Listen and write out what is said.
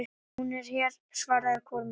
Hún er hér, svaraði Kormákur.